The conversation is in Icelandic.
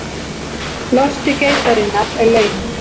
Losti geitarinnar er laun